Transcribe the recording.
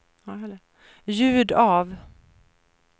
ljud av